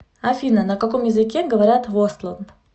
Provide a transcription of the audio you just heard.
афина на каком языке говорят в остланд